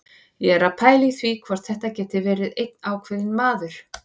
Ég er að pæla í því hvort þetta geti verið einn ákveðinn maður.